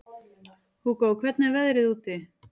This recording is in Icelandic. Hugó, hvernig er veðrið úti?